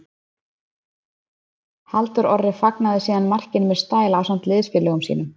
Halldór Orri fagnaði síðan markinu með stæl ásamt liðsfélögum sínum.